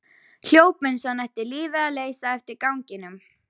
Hljóp eins og hann ætti lífið að leysa eftir ganginum.